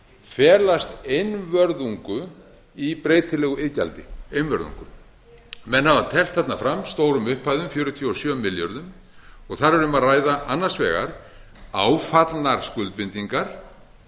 felast einvörðungu í breytilegu iðgjaldi einvörðungu menn hafa teflt þarna fram stórum upphæðum fjörutíu og sjö milljörðum og þar er um að ræða annars vegar áfallnar skuldbindingar